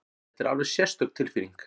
Þetta er alveg sérstök tilfinning!